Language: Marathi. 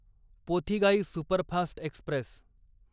Pothigai superfast Express